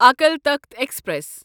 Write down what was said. Akal Takht express